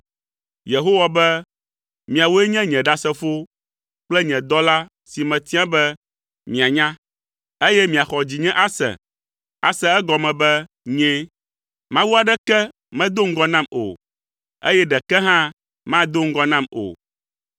Yehowa be, “Miawoe nye nye ɖasefowo kple nye dɔla si metia be mianya, eye miaxɔ dzinye ase, ase egɔme be nyee. Mawu aɖeke medo ŋgɔ nam o, eye ɖeke hã mado ŋgɔ nam o.